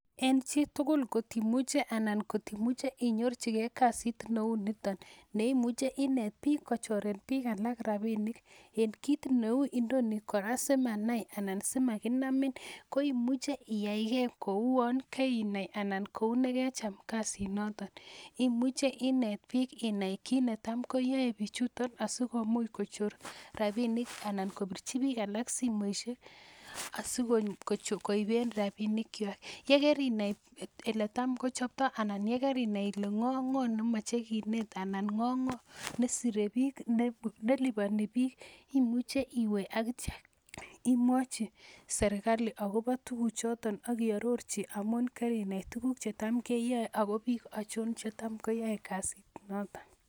en chitukul kotimuche inyorchike kasit neunitan , neimuche inet pik kocheren pik alak rabinik en kit neu nino kora simanai anan simakinamin koimuche iyai ke kouan kainai anan kou nekecham kasit noto imuche inet pik inai kit netamko yai pichutan asikomuch kochor rapinik anan kopirchi pik alak simoishek asikoipen rabinik chwak, yekerinai elet tam kochapta anan yekarinai kole ng'o ak ng'o nemache kinet anan ng'o nesore bik nelipani bik imuche iwe akitya imwachi serikali akopa tukuchoton aki arorchi amun karinet tukuku chetma keyai akopik achon cheta koyaei kasit noto.